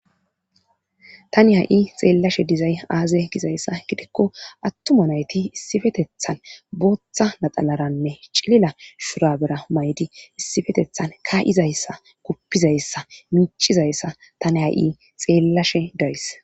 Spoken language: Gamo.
Tani ha'i xeellashe dizay aaze gizayssa gidikko attuma nayti issifetethan booththa naxalaranne cilila shurabera maydi issifetethan kaa'izayssa kuppizayssa miicizayssa tani ha'i xeellashe days.